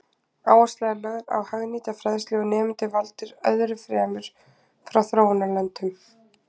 Áhersla er lögð á hagnýta fræðslu og nemendur valdir öðru fremur frá þróunarlöndum.